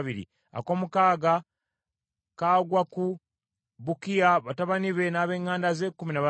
ak’omukaaga kagwa ku Bukkiya, batabani be, n’ab’eŋŋanda ze, kkumi na babiri;